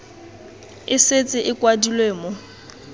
e setse e kwadilwe mo